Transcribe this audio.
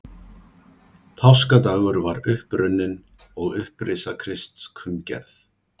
Páskadagur var upp runninn og upprisa Krists kunngerð.